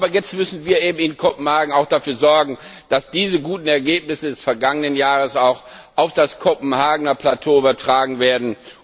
Aber jetzt müssen wir in Kopenhagen auch dafür sorgen, dass diese guten Ergebnisse des vergangenen Jahres auch auf die Kopenhagener Ebene übertragen werden.